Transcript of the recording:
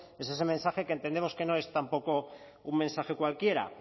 es ese mensaje que entendemos que no es tampoco un mensaje cualquiera